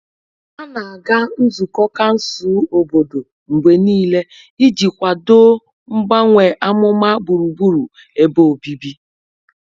Ha na-aga nzukọ kansụl obodo mgbe niile iji kwado mgbanwe amụma gburugburu ebe obibi.